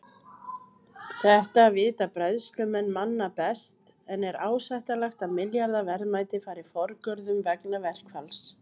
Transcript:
Þetta vita bræðslumenn manna best en er ásættanlegt að milljarða verðmæti fari forgörðum vegna verkfalls?